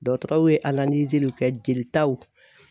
Dɔgɔtɔrɔw ye kɛ jelitaw